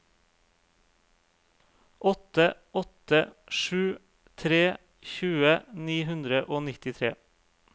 åtte åtte sju tre tjue ni hundre og nittitre